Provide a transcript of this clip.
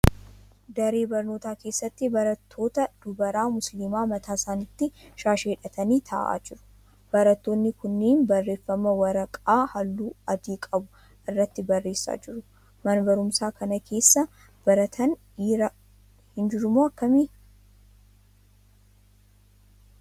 Daree barnootaa keessatti barattoota dubaraa musiliimaa mataa isaanitti shaashii hidhatanii ta'aa jiru. Barattoonni kunniin barreeffama waraqaa halluu adii qabu irratti barreessaa jiru. Mana barumsaa kana keessa barataan dhiiraa hin jirumoo akkamii?